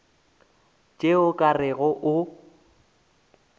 tšeo o ka rego o